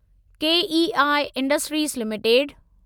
KEI Industries limited